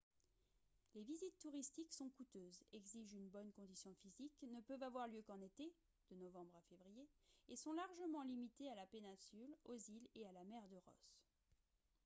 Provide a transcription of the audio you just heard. les visites touristiques sont coûteuses exigent une bonne condition physique ne peuvent avoir lieu qu'en été de novembre à février et sont largement limitées à la péninsule aux îles et à la mer de ross